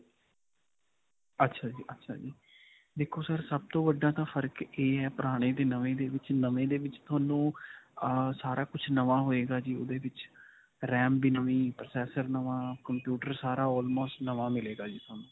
ਅੱਛਾ ਜੀ ਅੱਛਾ ਜੀ. ਦੇਖੋ sir ਸਭ ਤੋਂ ਵੱਡਾ ਤਾਂ ਫਰਕ ਇਹ ਹੈ, ਪੁਰਾਣੇ 'ਤੇ ਨਵੇਂ ਦੇ ਵਿੱਚ. ਨਵੇਂ ਦੇ ਵਿੱਚ ਤੁਹਾਨੂੰ ਅਅ ਸਾਰਾ ਕੁਝ ਨਵਾਂ ਹੋਏਗਾ ਜੀ. ਓਹਦੇ ਵਿੱਚ RAM ਵੀ ਨਵੀਂ, processor ਵੀ ਨਵਾਂ, computer ਸਾਰਾ almost ਨਵਾਂ ਮਿਲੇਗਾ ਜੀ ਤੁਹਾਨੂੰ.